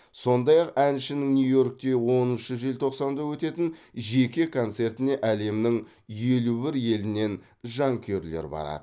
сондай ақ әншінің нью йоркте оныншы желтоқсанда өтетін жеке концертіне әлемнің елу бір елінен жанкүйерлер барады